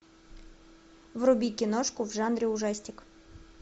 вруби киношку в жанре ужастик